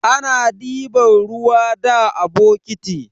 Ana diban ruwa da bokiti.